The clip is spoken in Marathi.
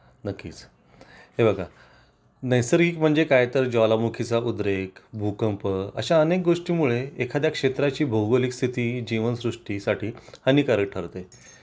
नक्कीच, हे बघा नैसर्गिक म्हणजे काय तर ज्वालामुखी चा उद्रेक भूकंप अशा अनेक गोष्टींमुळे एखाद्या क्षेत्राची भौगोलिक स्थिती जीवनसृष्टी साठी हानिकारक ठरते